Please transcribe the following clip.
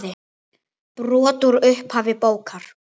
Brot úr upphafi bókar